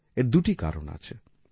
এর দুটি কারণ আছে